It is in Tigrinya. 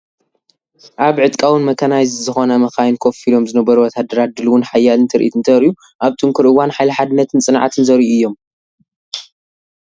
ኣብ ዕጥቃዊን መካናይዝድ ዝኾና መካይን ኮፍ ኢሎም ዝነበሩ ወተሃደራት ድሉውን ሓያልን ትርኢት እንተርእዩ። ኣብ ጥንኩር እዋን ሓይሊ ሓድነትን ጽንዓትን ዘርእዩ እዮም።